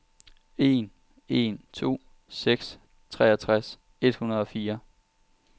en en to seks treogtres et hundrede og fire